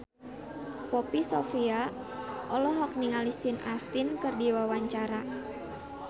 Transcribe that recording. Poppy Sovia olohok ningali Sean Astin keur diwawancara